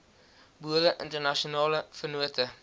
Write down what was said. boere internasionale vennote